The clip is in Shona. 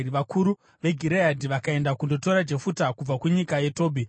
Vakuru veGireadhi vakaenda kundotora Jefuta kubva kunyika yeTobhi.